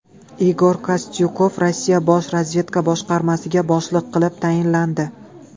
Igor Kostyukov Rossiya bosh razvedka boshqarmasiga boshliq qilib tayinlandi.